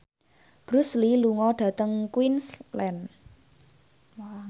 Bruce Lee lunga dhateng Queensland